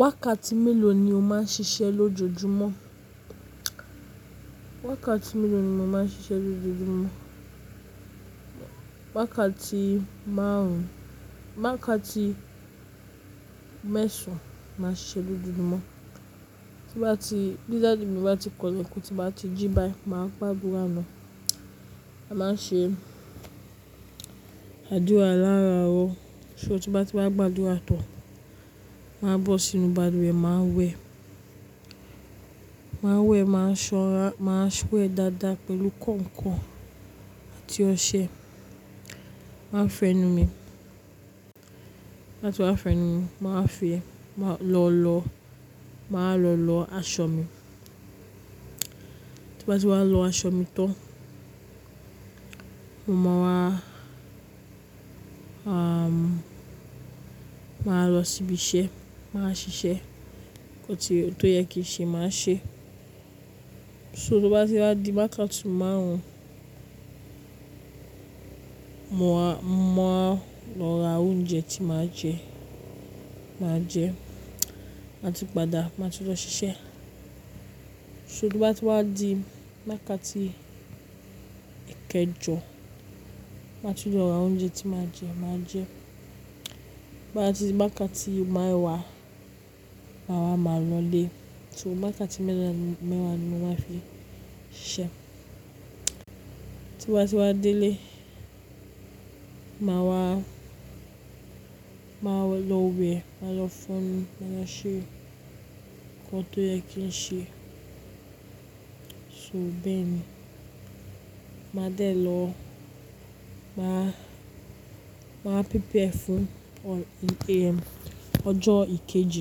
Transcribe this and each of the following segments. Wákàtí mélòó ni o máa ń ṣiṣẹ́ lójoojúmọ́? Wákàtí mélòó ni mo máa ń ṣiṣẹ́ lójoojúmọ́? Wákàtí márùn wákàtí mẹ́sàn màá ń ṣiṣẹ́ lójoojúmọ́. Tí bá ti-- bí dádi mí bá ti kọn lẹ̀kun, ti bá ti jí bá yi máa gbádùrà ná. A máa ń ṣe àdúrà láàárọ̀, so tí bá ti wá gbádùrà tán, màá bọ́ sínú balùwẹ̀, màá wẹ̀. Màá wẹ̀, màá ṣọ́nra, màá wẹ̀ dáadáa pẹ̀lú kànkàn àti ọṣẹ. Màá fo ẹnu mi, láti wá fo ẹnu mi, màá fi, máa lọ lọ, màá lọ lọ aṣọ mi. Ti bá ti wá lọ aṣọ mi tán, mo máa wá. Màá lọ sí ibi iṣẹ́, màá ṣiṣẹ́. Ohun tí, ohun tó yẹ kí n ṣe màá ṣe. So tí ó bá ti wá di wákàtí márùn-ún, mo á, mo á lọ ra oúnjẹ tí màá jẹ, màá jẹ, màá tun padà, màá tun lọ ṣiṣẹ́. So tí bá ti wá di wákàtí èkejọ́, màá ti lọ ra oúnjẹ tí màá jẹ, màá jẹ. Bí bá ti di wákàtí mewá, màá wá, màá lọ ilé. So wákàtí mẹ́ẹ̀wá ni mo máa ń fi ṣiṣẹ́. Ti bá ti wá délé, màá wá, màá lọ wẹ̀, màá lọ fọn ẹnu, máa lo ṣe ohun tó yẹ kí n ṣe. So bẹ́ẹ̀ ni. Màá délé lọ, màá, màá prepare fun in AM, ọjọ́ ìkejì,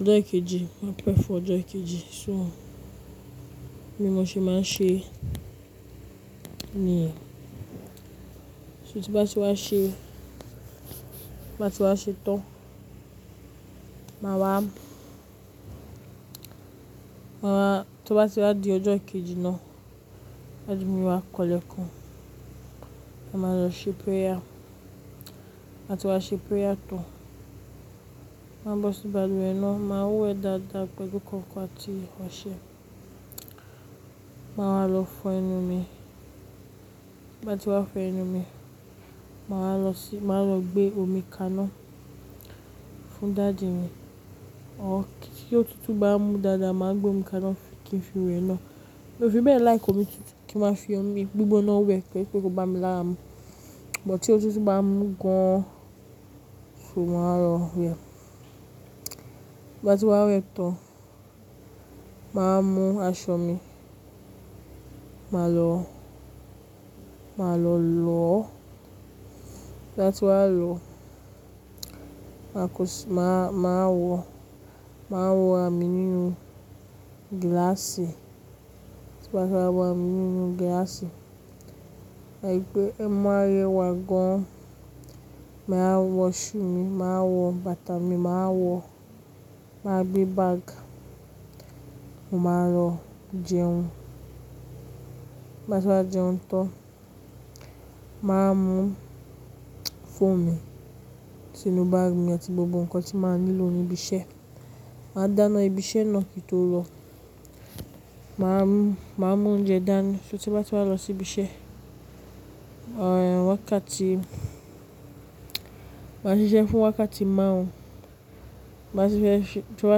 ọjọ́ ìkejì, màá pepare fún ọjọ́ ìkejì so bí mo ṣe máa ń ṣe nìyẹn. So tí bá ti wá ṣe, bá ti wá ṣe tán, màá wá, wá, tí ó bá ti wá di ọjọ́ kejì náà, daddy mì wà kọn lẹ̀ kun, màá lọ ṣe prayer. Láti wá ṣe prayer tán, màá bọ́ sí balùwẹ̀ náà, màá wẹ̀ dáadáa pẹ̀lú kànkàn àti ọṣẹ. Màá wá lọ fọ ẹnu mi. Bí bá ti wá fọ ẹnu mi, màá lọ sí, màá lọ gbé omi kaná fún dàdi mi. Ọ̀, tí ótutú bá mú dáadáa, màá gbé omi kaná kí n fi wẹ̀ ẹ́ ná. Ó fi bẹ́ẹ̀ like omi tutu, kí ma fi omi gbígbóná wẹ̀ pé kó bá mi láàárọ̀. Bútí ó tó tú bá mú gan an, so màá lọ wẹ̀. Bí bá ti wá wẹ̀ tán, màá mú aṣọ mi, màá lọ, màá lọ lọo. Láti wá lọ, màá kọṣẹ́, màá, màá wọ, màá wọ ara mì nínú gíláàsì. Ti bá ti wá wọ àmì nínú gíláàsì, àìpẹ́ ẹ́ má rẹ wá gan an. Màá wọ shoe mi, màá wọ bàtà mi, màá wọ, màá gbé báàgì, mo máa lọ jẹun. Tibati wá jẹun tán, màá mú phone mi sínú báàgì mi àti gbogbo nǹkan tí màá nílò ní ibi iṣẹ́. Màá dáná ibi iṣẹ́ náà kí n tó lọ. Màá mú, màá mú oúnjẹ dání so tí bá ti wá lọ sí ibi iṣẹ́, wákàtí, màá ṣiṣẹ́ fún wákàtí márùn-ún. Màá ṣiṣẹ́, tí wá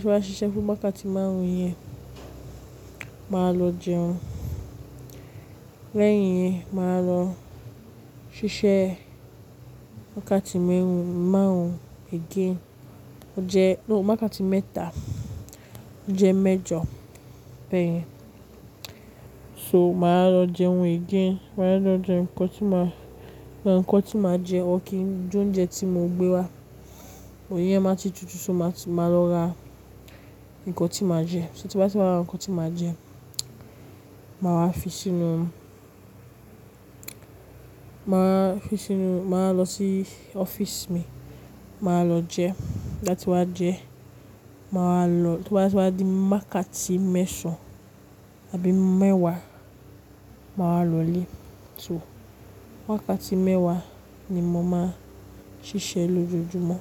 ti wá ṣiṣẹ́ fún wákàtí márùn-ún yẹn, màá lọ jẹun. Lẹ́yìn yẹn, màá lọ ṣiṣẹ́ wákàtí márùn-ún again. Ọ̀ jẹ́, lóòótọ́ wákàtí mẹ́ta, ó jẹ́ mẹ́jọ̀ bẹ́ẹ̀ yẹn. So màá lọ jẹun again. Màá lọ jẹun nǹkan tí màá, lọ ra nǹkan tí màá jẹ, or kín je oúnjẹ tí mo gbé wá. Iyen máa ti tutù so màá ti máa lọ ra nǹkan tí màá jẹ. So tí bá ti wá ra nǹkan tí màá jẹ, màá wá fi sínú, màá fi sínú, màá lọ sí ọ́fíìsì mi, màá lọ jẹ. Tibati wá jẹ, màá lọ, tí wá ti wá di wákàtí mẹ́sàn-án àbí mẹ́wàá, màá lọ ilé. So wákàtí mẹ́wàá ni mo máa ń ṣiṣẹ́ lójoojúmọ́.